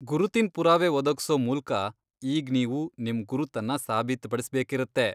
ಗುರುತಿನ್ ಪುರಾವೆ ಒದಗ್ಸೋ ಮೂಲ್ಕ ಈಗ್ ನೀವು ನಿಮ್ ಗುರುತನ್ನ ಸಾಬೀತ್ಪಡಿಸ್ಬೇಕಿರತ್ತೆ.